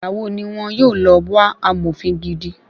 Igbàwo ni wọ́n yóò lọ wá amòfin gidi?